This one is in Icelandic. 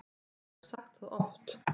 Ég hef sagt það oft.